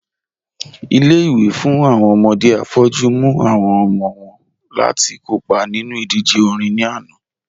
Ilé-ìwé fún awọn ọmọdé afọ́jù mú awọn ọmọ wọn láti kọ́pa nínu idíjè orin ní ànà